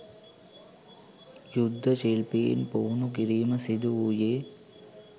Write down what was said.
යුද්ධ ශිල්පීන් පුහුණු කිරීම සිදුවූයේ